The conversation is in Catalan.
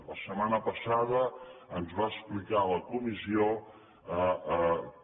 la setmana passada ens va explicar a la comissió que